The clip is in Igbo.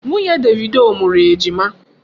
Nwunye Davido mụrụ Ejima.